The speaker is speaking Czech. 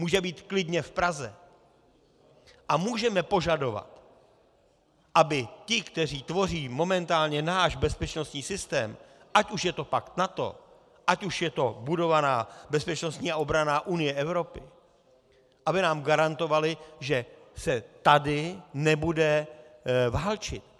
Může být klidně v Praze a můžeme požadovat, aby ti, kteří tvoří momentálně náš bezpečnostní systém, ať už je to pakt NATO, ať už je to budovaná bezpečnostní a obranná unie Evropy, aby nám garantovali, že se tady nebude válčit.